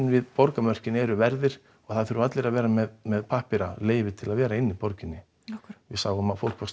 við borgarmörkin voru verðir og það þurfa allir að vera með með pappíra leyfi til að vera í borginni af hverju við sáum að fólk var